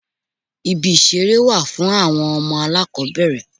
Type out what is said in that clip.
Ibi ìṣeré wà fún àwọn ọmọ alákòbẹ̀rẹ̀.